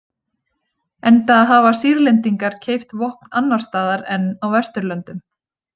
Enda hafa Sýrlendingar keypt vopn annars staðar en á Vesturlöndum.